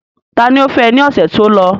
Ta ni ó fẹ́ ní ọ̀sẹ̀ tó lọ?